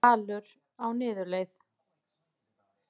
Dalur á niðurleið